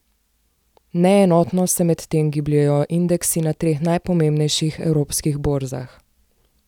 Neenotno se medtem gibljejo indeksi na treh najpomembnejših evropskih borzah.